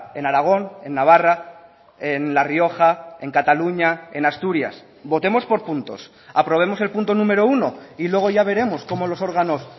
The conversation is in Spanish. en aragón en navarra en la rioja en cataluña en asturias votemos por puntos aprobemos el punto número uno y luego ya veremos cómo los órganos